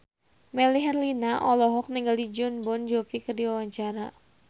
Melly Herlina olohok ningali Jon Bon Jovi keur diwawancara